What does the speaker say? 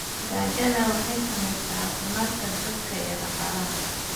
Gaajada waxay saamaysaa caafimaadka dadka iyo dhaqaalaha.